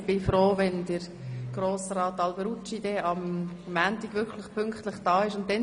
Ich bin froh, wenn Grossrat Alberucci am Montag wirklich pünktlich erscheint.